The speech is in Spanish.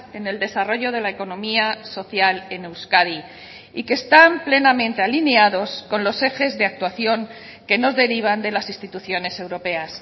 en el desarrollo de la economía social en euskadi y que están plenamente alineados con los ejes de actuación que nos derivan de las instituciones europeas